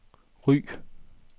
Ry